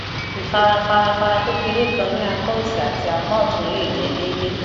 ifarafarafara kekere kan ni apa osi ati apa ọtun le jẹ deede